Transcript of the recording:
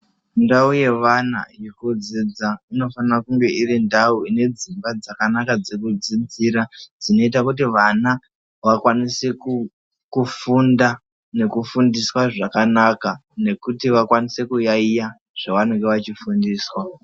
Ndau yevana yekudziddza inofanira kunge irindau ine dzimba dzakanaka dzekudzidzira dzekuti vana vanokwanisa kunge vachifunda nekufundiswa zvakanaka nekuti vakwanise kuyaiya zvavanenge vachifundiswa